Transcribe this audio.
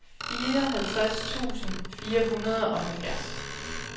fireoghalvtreds tusind fire hundrede og halvfjerds